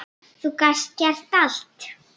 Þú gast gert allt.